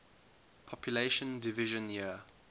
population division year